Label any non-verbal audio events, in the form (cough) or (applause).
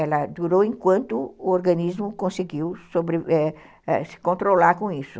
Ela durou enquanto o organismo conseguiu (unintelligible) se controlar com isso.